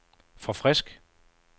forfrisk